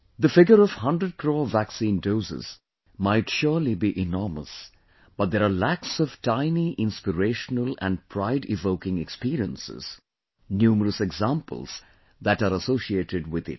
the figure of 100 crore vaccine doses might surely be enormous, but there are lakhs of tiny inspirational and prideevoking experiences, numerous examples that are associated with it